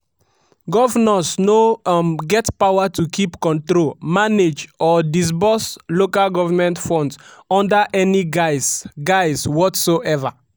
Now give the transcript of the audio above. "governors no um get power to keep control manage or disburse lg funds under any guise guise whatsoever."